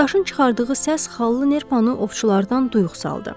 Daşın çıxardığı səs xallı nerpanı ovçulardan duyux saldı.